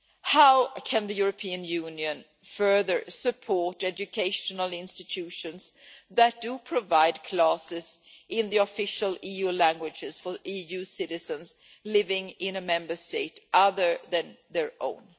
How can the European Union further support educational institutions that do provide classes in the official EU languages for EU citizens living in a Member State other than their own?